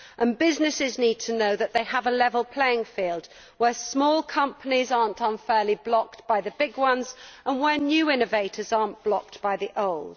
And businesses need to know that they have a level playing field where small companies are not unfairly blocked by the big ones and where new innovators are not blocked by the old.